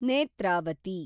Netravati